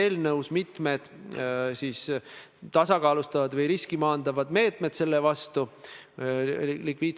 Ja ma tunnistan, et need iseseisvuse taastanud peaministrite fotod – no suuruses A4, need ei ole suuremad – on tõesti seotud minu initsiatiiviga.